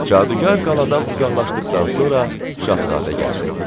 Cadugar qaladan uzaqlaşdıqdan sonra Şahzadə gəldi.